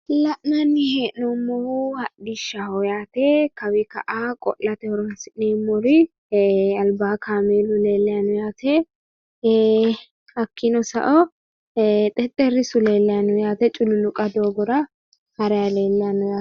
La'nnani he'nnoomohu hodhishshaho yaate kawii ka'a qo'late horooni'sinnemori albaa kaameelu leelayino yaate hakkiino sao xexxerissu leelayino yaate culluluqa doogora harayi leelayino yaate.